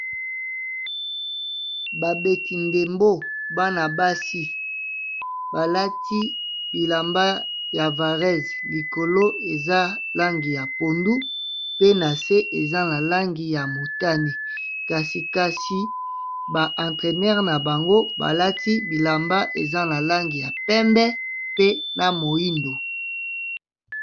Babeti ndembo, bana basi balati bilamba ya varèse likolo eza langi ya pondu pe na se eza na langi ya motané, kasi kasi ba entraineur na bango balati bilamba eza na langi ya pembé pe ya moyindo.